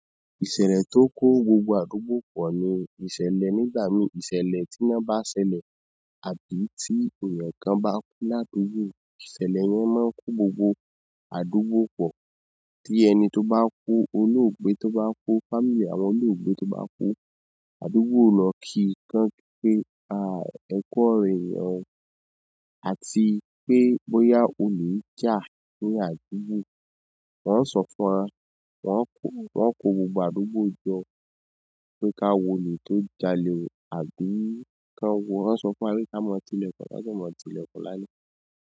Ìṣẹ̀lẹ̀ tó kó gbogbo àdúgbò pọ̀ ni ìṣẹ̀lẹ̀ nígbà mìí ìṣẹ̀lẹ̀ tí ná bá ṣẹlẹ̀. Àbí tí èèyàn kan bá kú ládùúgbò, ìṣẹ̀lẹ̀ yẹn máa ń kó gbogbo àdúgbò pọ̀. Tí ẹni tó bá kú, olóògbé tó bá kú, fámílì àwọn olóògbé tó bá kú, àdúgbò lọ kì í kan pé, à, ẹ kú ọrọ̀ èèyàn ò, àti pé bóyá olè jà ní àdúgbò. Wọọ́n sọ fún wa, wọ́n kó, wọ́n kó gbogbo àdúgbò jọ pé ká wolè tó jalè àbí kán wo, haán sọ fún wa pé ká mọ tilẹ̀kùn, ká dẹ̀ mọ tilẹ̀kùn lálẹ́.